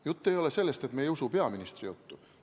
Jutt ei ole sellest, et me ei usu peaministri juttu.